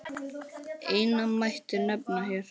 Eina mætti nefna hér.